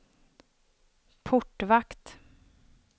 portvakt